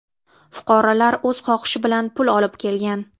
Fuqarolar o‘z xohishi bilan pul olib kelgan.